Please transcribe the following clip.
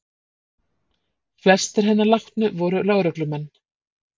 Flestir hinna látnu voru lögreglumenn